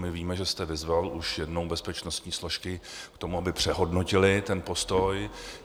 My víme, že jste vyzval už jednou bezpečnostní složky k tomu, aby přehodnotily ten postoj.